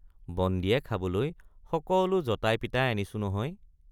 বন্দীয়ে খাবলৈ সকলো যতাই পিতাই আহিছো নহয়।